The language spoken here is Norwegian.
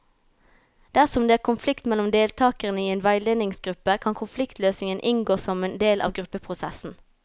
Dersom det er konflikt mellom deltakere i en veiledningsgruppe, kan konfliktløsning inngå som en del av gruppeprosessen.